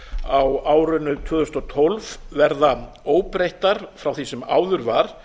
á árinu tvö þúsund og tólf verði óbreyttar frá því sem áður var